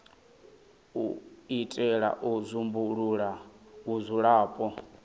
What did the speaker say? u itela u dzumbulula vhudzulapo